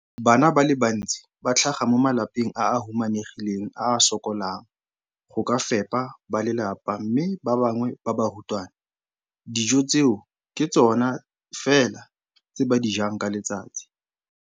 Bana ba le bantsi ba tlhaga mo malapeng a a humanegileng a a sokolang go ka fepa ba lelapa mme ba bangwe ba barutwana, dijo tseo ke tsona fela tse ba di jang ka letsatsi.